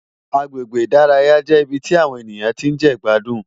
Àgbégbé Idàráyá jé ibi ti áwòn éniyán ti n je igbádún